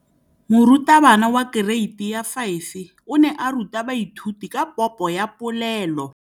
Moratabana wa kereiti ya 5 o ne a ruta baithuti ka popô ya polelô.